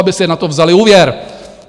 Aby si na to vzaly úvěr.